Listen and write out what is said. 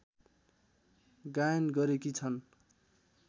गायन गरेकी छन्